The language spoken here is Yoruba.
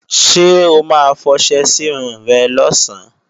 Ṣé o ma fọṣẹ sírun rẹ̀ lọ̀sán?